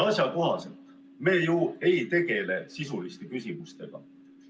Asjakohasest rääkides, me ju ei tegele sisuliste küsimustega.